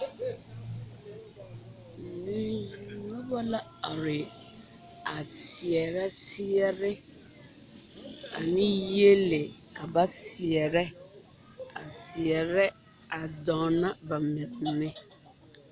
Noba la are a seɛrɛ seɛrɛ ane yiele ka ba seɛrɛ a seɛrɛ a dɔɔno ba mine